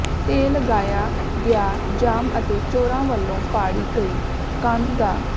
ਤੇ ਲਗਾਇਆ ਗਿਆ ਜਾਮ ਅਤੇ ਚੋਰਾਂ ਵੱਲੋ ਪਾੜੀ ਗਈ ਕੰਧ ਦਾ